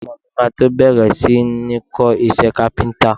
Ọmọọ̀ mi máa tó bẹ̀rẹ̀ si ní ń kọ iṣẹ́ Kápẹ́ńtà.